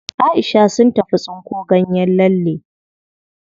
Aisha sun tafi tsinko ganyen lalle.